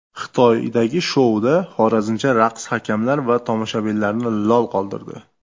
Xitoydagi shouda xorazmcha raqs hakamlar va tomoshabinlarni lol qoldirdi.